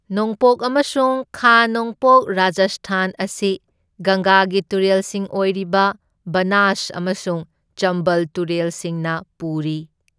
ꯅꯣꯡꯄꯣꯛ ꯑꯃꯁꯨꯡ ꯈꯥ ꯅꯣꯡꯄꯣꯛ ꯔꯥꯖꯁꯊꯥꯟ ꯑꯁꯤ ꯒꯪꯒꯥꯒꯤ ꯇꯨꯔꯦꯜꯁꯤꯡ ꯑꯣꯏꯔꯤꯕ ꯕꯅꯥꯁ ꯑꯃꯁꯨꯡ ꯆꯝꯕꯜ ꯇꯨꯔꯦꯜꯁꯤꯡꯅ ꯄꯨꯔꯤ꯫